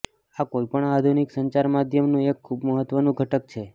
આ કોઈપણ આધુનિક સંચાર માધ્યમનું એક ખૂબ મહત્વનું ઘટક છે